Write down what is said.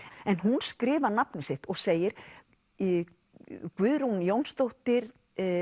en hún skrifar nafnið sitt og segir Guðrún Jónsdóttir